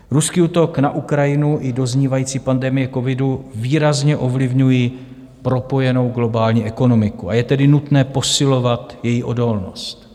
Ruský útok na Ukrajinu i doznívající pandemie covidu výrazně ovlivňují propojenou globální ekonomiku, a je tedy nutné posilovat její odolnost.